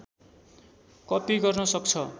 copy गर्न सक्छ